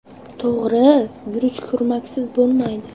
To‘g‘ri, guruch kurmaksiz bo‘lmaydi.